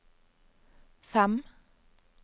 fem